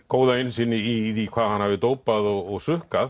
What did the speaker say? góða innsýn í hvað hann hafi dópað og